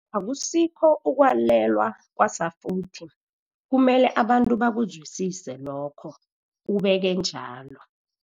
Akusikho ukwalelwa kwasafuthi, kumele abantu bakuzwisise lokho, ubeke bunjalo.